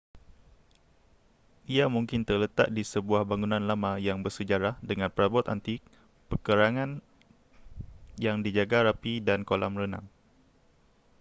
ia mungkin terletak di sebuah bangunan lama yang bersejarah dengan perabot antik perkarangan yang dijaga rapi dan kolam renang